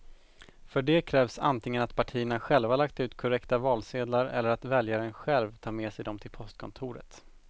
För det krävs antingen att partierna själva lagt ut korrekta valsedlar eller att väljaren själv tar med sig dem till postkontoret.